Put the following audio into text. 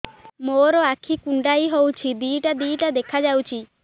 ମୋର ଆଖି କୁଣ୍ଡାଇ ହଉଛି ଦିଇଟା ଦିଇଟା ଦେଖା ଯାଉଛି